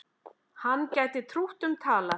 Hann gæti trútt um talað.